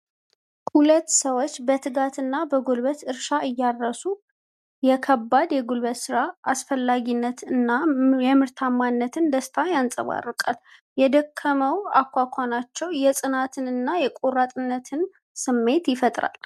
ሁለት ሰዎች በትጋትና በጉልበት እርሻ እያረሱ። የከባድ የጉልበት ሥራን አስፈላጊነት እና የምርታማነትን ደስታ ያንፀባርቃል። የደከመው አኳኋናቸው የፅናትንና የቆራጥነትን ስሜት ይፈጥራል።